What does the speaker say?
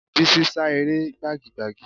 Bísí sá eré gbagi gbagi